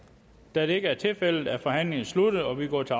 da det ikke er tilfældet er forhandlingen sluttet og vi går til